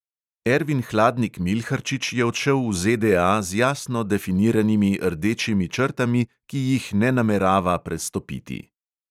Ervin hladnik milharčič je odšel v ZDA z jasno definiranimi rdečimi črtami, ki jih ne namerava prestopiti.